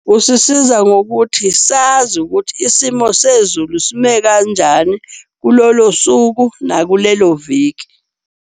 Kusisiza ngokuthi sazi ukuthi isimo sezulu sime kanjani kulolo suku, nakulelo viki.